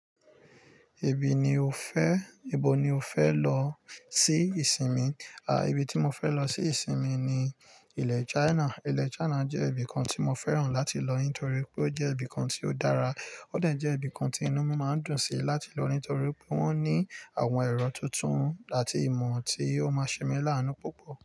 Èbí ni o fẹ́, ìbò ni o fẹ́ lọ sí ìsinmi? Àá, ibi tí mo fẹ́ lọ sí ìsinmi ni ilẹ̀ China. Ilẹ̀ China jẹ́ ibìkan tí mo fẹ́ràn láti lọ nítorí pé ó jẹ́ ibìkan tí ó dára, ó de jẹ́ ibìkan tí inú mi máa ń dùn sí láti lọ nítorí pé wón ní àwọn ẹ̀rọ tuntun àti ìmò tí ó máa ṣe mí lá ánú púpọ̀.